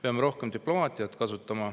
Peame rohkem diplomaatiat kasutama.